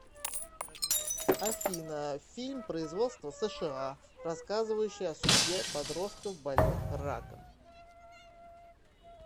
афина фильм производства сша рассказывающая о судьбе подростков больных раком